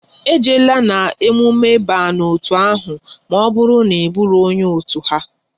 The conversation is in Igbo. E jeela na emume ba n'otu ahụ maọbụru na Ị buro onye otu ha!